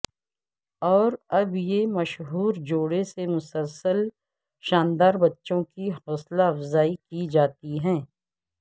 اور اب یہ مشہور جوڑے نے مسلسل شاندار بچوں کی حوصلہ افزائی کی جاتی ہے